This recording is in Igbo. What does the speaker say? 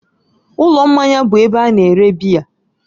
Ụlọ mmanya bụ ebe a na-ere biya